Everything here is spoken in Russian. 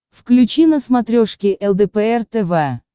включи на смотрешке лдпр тв